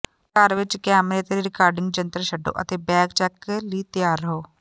ਘਰ ਵਿਚ ਕੈਮਰੇ ਅਤੇ ਰਿਕਾਰਡਿੰਗ ਯੰਤਰ ਛੱਡੋ ਅਤੇ ਬੈਗ ਚੈੱਕ ਲਈ ਤਿਆਰ ਰਹੋ